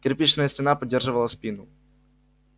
кирпичная стена поддерживала спину